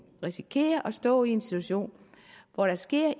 risikere at stå i en situation hvor der sker